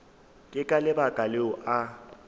ke ka lebaka leo a